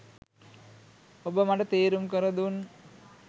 ඔබ මට තේරුම් කරදුන්